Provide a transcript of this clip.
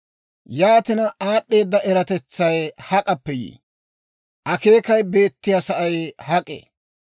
«Yaatina, aad'd'eeda eratetsay hak'appe yii? Akeekay beettiyaa sa'ay hak'ee?